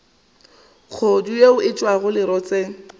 kgodu yeo e tšwago lerotseng